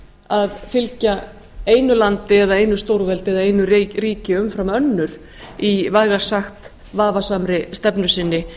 að fylgja einu landi eða einu stórveldi eða einu ríki umfram önnur í vægast sagt vafasamri stefnu sinni